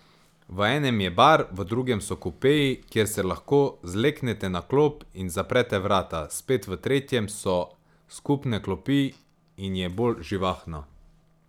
V enem je bar, v drugem so kupeji, kjer se lahko zleknete na klop in zaprete vrata, spet v tretjem so skupne klopi in je bolj živahno.